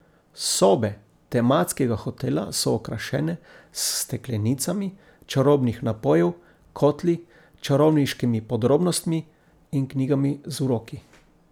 Sobe tematskega hotela so okrašene s steklenicami čarobnih napojev, kotli, čarovniškimi podrobnostmi in knjigami z uroki.